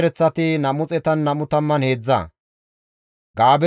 Azimoote katama asati 42,